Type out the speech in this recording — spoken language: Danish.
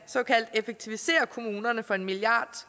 effektivisere kommunerne for en milliard